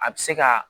A bɛ se ka